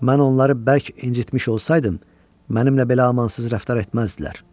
Mən onları bərk incitmiş olsaydım, mənimlə belə amansız rəftar etməzdilər.